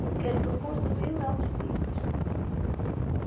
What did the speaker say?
Porque assim o construir não é o difícil.